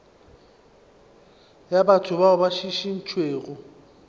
ya batho bao ba šišintšwego